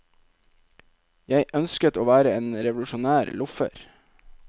Jeg ønsket å være en revolusjonær loffer.